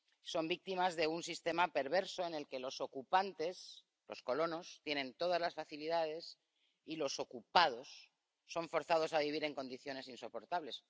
Son víctimas de un sistema perverso en el que los ocupantes —los colonos— tienen todas las facilidades, y los ocupados son forzados a vivir en condiciones insoportables.